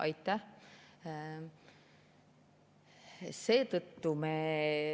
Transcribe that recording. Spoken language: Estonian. Aitäh!